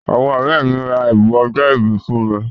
Àwọn ọ̀rẹ́ mi ra ẹ̀bùn ọjọ́ ìbí fún mi.